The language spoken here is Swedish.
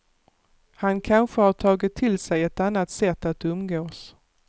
Han kanske har tagit till sig ett annat sätt att umgås.